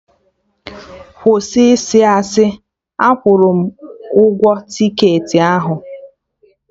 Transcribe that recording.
Kwụsị ịsị asị! Akwụrụ m ụgwọ tiketị ahụ